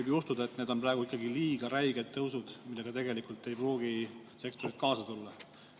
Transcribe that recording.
Ma arvan, et need on ikkagi liiga räiged tõusud, millega sektorid ei pruugi kaasa tulla.